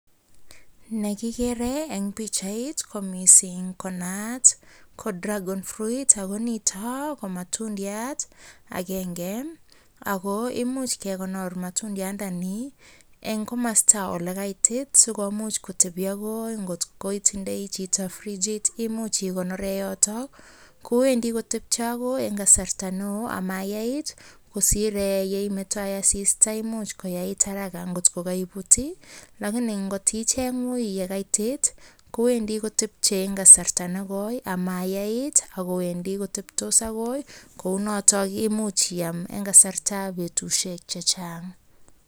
Negigere en pichait komising konaat ko dragon fruit ago nito ko matundiat agenge, ago imuch kegonor matundiani en komasta ole kaititsikomuch kotebi ak ngot koitindoi chito frichit imuch igonore yoto, kowendi kotepche agoi en kasarta neo ama yaait kosir yeimetoen asista ole imuch koyait haraka ngot ko koibut lakini ngot icheng uiiy ye kaitit kowendi kotepche en kasarta negoi ama yai kiit ago wendi koteptos agoi kounoto koimuch iyai en kasartab betushek chechang.